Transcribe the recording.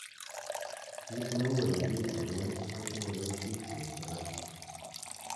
kiit neu olekiburen kotinye koititiet raa